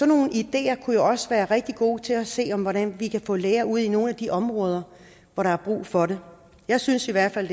nogle ideer kan jo også være rigtig gode til at se hvordan vi kan få læger ud i nogle af de områder hvor der er brug for det jeg synes i hvert fald